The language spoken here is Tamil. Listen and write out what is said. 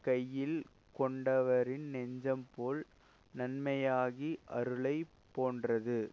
கையில் கொண்டவரின் நெஞ்சம் போல் நன்மையாகி அருளை போன்றது